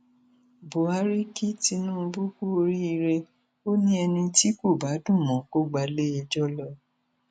buhari kí tinubu kú oríire ó ní ẹni tí kò bá dùn mọ kó gba iléẹjọ lọ